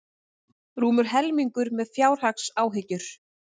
Rúmur helmingur með fjárhagsáhyggjur